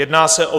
Jedná se o